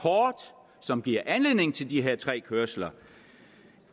som giver anledning til de her tre kørsler